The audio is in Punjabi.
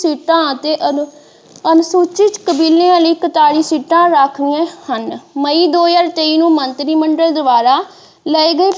ਸੀਟਾਂ ਅਤੇ ਅਨੁਸੂਚਿਤ ਕਬੀਲਿਆਂ ਲਈ ਪੰਤਾਲੀ ਸੀਟਾਂ ਰਾਖਵੀਆਂ ਹਨ ਮਈ ਦੋ ਹਜ਼ਾਰ ਤੇਈ ਨੂੰ ਮੰਤਰੀ ਮੰਡਲ ਦੁਆਰਾ ਲ਼ਏ ਗਏ।